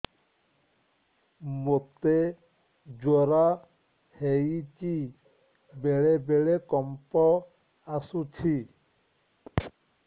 ମୋତେ ଜ୍ୱର ହେଇଚି ବେଳେ ବେଳେ କମ୍ପ ଆସୁଛି